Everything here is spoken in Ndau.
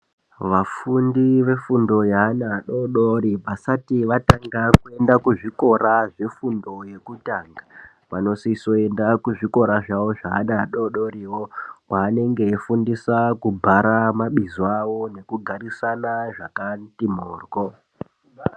Vafundi vefundo yeana adori-dori, vasati vatanga kuenda kuzvikora zvefundo yekutanga, vanosisa kuenda kuzvikora zvavo zveana ado-dori, kweanenge eifundiswa kubhara mabizo awo nekugarisana zvakati mhoryo.